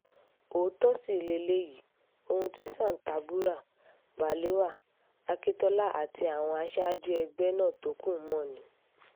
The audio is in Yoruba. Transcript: òótọ́ sì leléyìí ohun tí santerburā balewa akíntola àti àwọn aṣáájú ẹgbẹ́ nna tó kù mọ́ ni